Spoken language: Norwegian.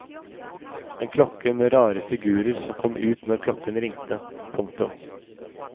En klokke med rare figurer som kom ut når klokken ringte. punktum